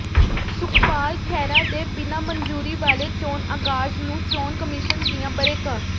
ਸੁਖਪਾਲ ਖਹਿਰਾ ਦੇ ਬਿਨਾਂ ਮਨਜ਼ੂਰੀ ਵਾਲੇ ਚੋਣ ਆਗਾਜ਼ ਨੂੰ ਚੋਣ ਕਮਿਸ਼ਨ ਦੀਆਂ ਬਰੇਕਾਂ